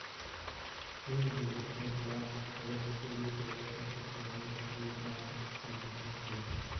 семь девятьсот двадцать шесть четыреста восемьдесят ноль девятнадцать шестьдесят три